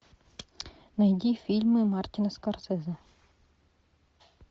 найди фильмы мартина скорсезе